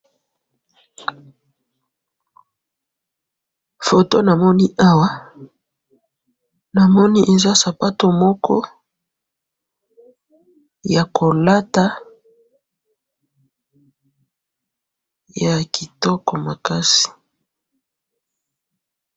photo namoni awa namoni eza sapato moko ya kolata ya kitoko makasi